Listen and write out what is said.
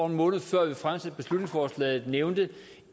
en måned før vi fremsatte beslutningsforslaget nævnte